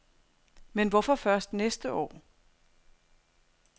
Men hvorfor først næste år?